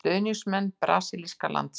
Stuðningsmenn brasilíska landsliðsins.